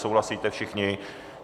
Souhlasíte všichni?